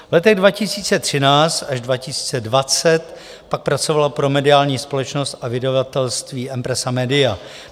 V letech 2013 až 2020 pak pracoval pro mediální společnost a vydavatelství Empresa Media.